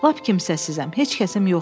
Lap kimsəsizam, heç kəsim yoxdur.